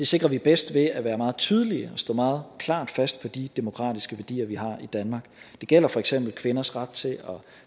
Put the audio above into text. sikrer vi bedst ved at være meget tydelige og stå meget klart fast på de demokratiske værdier vi har i danmark det gælder for eksempel kvinders ret til at